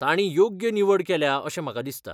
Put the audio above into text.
तांणी योग्य निवड केल्या अशें म्हाका दिसता